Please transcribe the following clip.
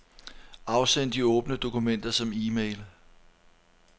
Afsend de åbne dokumenter som e-mail.